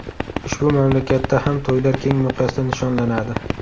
Ushbu mamlakatda ham to‘ylar keng miqyosda nishonlanadi.